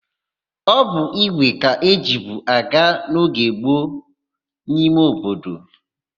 Ọ bụ ígwè ka ejibu aga n'oge gboo n'ime obodo.